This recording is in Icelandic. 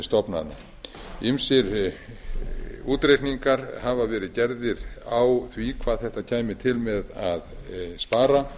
stofnana ýmsir útreikningar hafa verið gerðir á því hvað þetta kæmi til með að spara